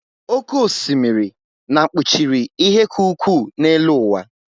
Oké osimiri na kpuchiri ihe ka ukwuu n'elu ụwa